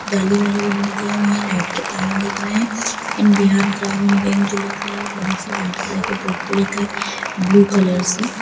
जाली वाली विंडो दी हुई है लाइट के तार दिख रहा है इन बिहारी ग्रामीण बैंक जो लिखा है बड़े से वाइट कलर के बोर्ड पर लिखा है ब्लू कलर से।